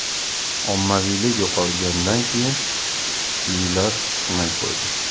Ommaviylik yo‘qolgandan keyin, kuchlilar chiqmay qo‘ydi.